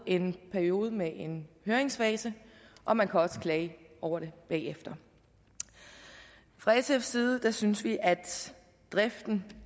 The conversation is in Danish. en periode med en høringsfase og man kan også klage over det bagefter fra sfs side synes vi at i driften